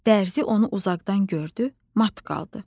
Dərzi onu uzaqdan gördü, mat qaldı.